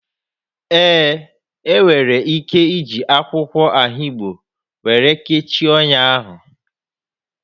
Ee, ị nwere ike iji akwụkwọ ahigbo were kechie ọnya ahụ